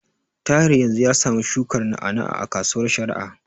Tahir yanzu ya samu shukar na'a-na'a a kasuwar Sharada.